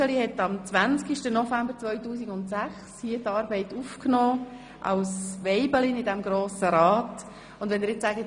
Sie nahm die Arbeit als Weibelin im Grossen Rat am 20. November 2006 auf.